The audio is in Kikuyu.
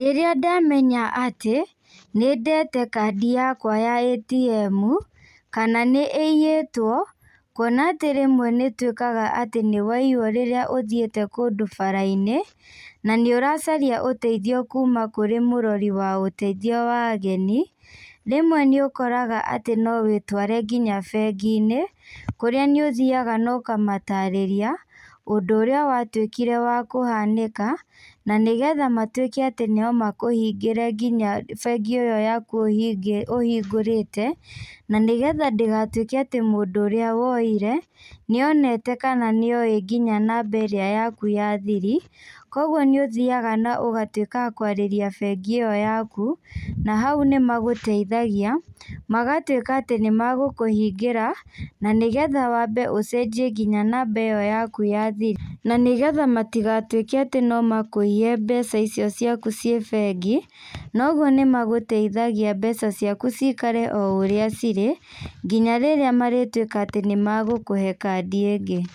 Rĩrĩa ndamenya atĩ, nĩndete kandi yakwa ya ATM, kana nĩiyĩtwo, kuona atĩ rĩmwe nĩtuĩkaga atĩ nĩwaiywo rĩrĩa ũthiĩte kũndũ barainĩ, na nĩũracaria ũteithio kuma kũrĩ mũrori wa ũteithio wa ageni, rĩmwe nĩũkoraga atĩ no wĩtware nginya benginĩ, kũrĩa nĩ ũthiaga na ũkamatarĩria, ũndũ ũrĩa watuĩkire wa kũhanĩka, na nĩgetha matuĩke atĩ no makũhingĩre nginya bengĩ ĩyo yaku ũhingĩ ũhingũrĩte, na nĩgethandĩgatuĩke atĩ mũndũ ũrĩa woire, nĩoneka kana nĩoĩ nginya namba ĩrĩa yaku ya thiri, koguo nĩũthiaga na ũgatuĩka wakwarĩria bengi ĩyo yaku, na hau nĩmagũteithagia, magatuĩka atĩ nĩmagũkũhingĩra, na nĩgetha wambe ũcenjie nginya namba ĩyo yaku ya thiri, na nĩgetha matigatuĩke atĩ nomakũiye mbeca icio ciaku ciĩ bengi, na ũguo nĩmagũteithagia mbeca ciaku cikare o ũrĩa cirĩ, nginya rĩrĩa marĩtuĩka atĩ nĩmagũkũhe kandi ingĩ.